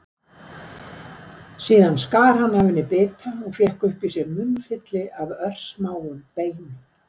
Síðan skar hann af henni bita og fékk upp í sig munnfylli af örsmáum beinum.